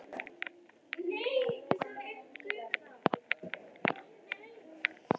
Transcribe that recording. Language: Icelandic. Hann hefur ekki útilokað það að vera áfram í Bandaríkjunum.